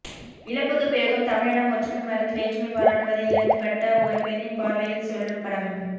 இழப்புக்கு பிறகும் தமிழினம் ஒற்றுமை மறந்து வேற்றுமை பாராட்டுவதை இழந்து பட்ட ஒரு பெண்ணின் பார்வையில் சொல்லும் படம்